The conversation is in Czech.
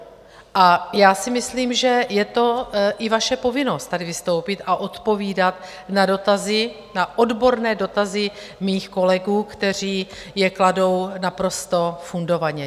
A já si myslím, že je to i vaše povinnost tady vystoupit a odpovídat na dotazy, na odborné dotazy mých kolegů, kteří je kladou naprosto fundovaně.